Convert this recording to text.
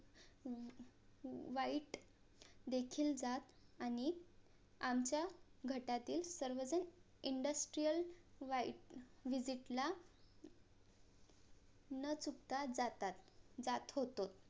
site देखील जात आणि आमच्या गटातील सर्वजण INDUSTRIAL SITE VISIT ला न चुकता जातात जात होतो